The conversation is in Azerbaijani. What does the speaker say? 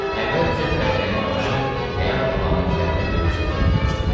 Əvvəlcə fəhlənin başı həyat əlamətlərini büruzə verməyə başladı.